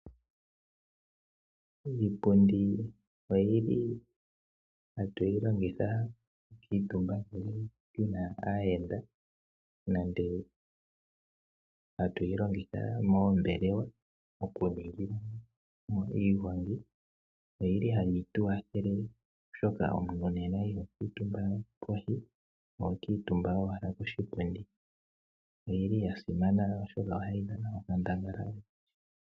Iipundi ohatu yi longitha okukuutumba ngele pu na aayenda nenge hatu yi longitha moombelewa okuningila mo iigongi. Ohayi tu kwathele, oshoka omuntu iho kuutumba pevi, ihe oho kuutumba koshipundi. Oya simana, oshoka ohayi dhana onkandangala.